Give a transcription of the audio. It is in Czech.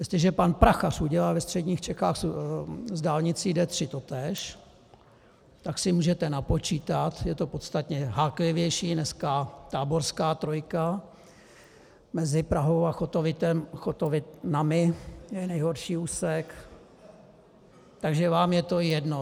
Jestliže pan Prachař udělal ve středních Čechách s dálnicí D3 totéž, tak si můžete napočítat, je to podstatně háklivější, dneska táborská trojka mezi Prahou a Chotovinami je nejhorší úsek, takže vám je to jedno.